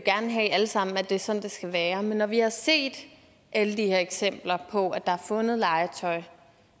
alle sammen at det er sådan det skal være men når vi har set alle de her eksempler på at der er fundet legetøj